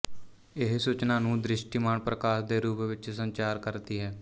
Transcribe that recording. ਇਹ ਸੂਚਨਾ ਨੂੰ ਦ੍ਰਿਸ਼ਟੀਮਾਨ ਪ੍ਰਕਾਸ਼ ਦੇ ਰੂਪ ਵਿੱਚ ਸੰਚਾਰ ਕਰਦੀ ਹੈ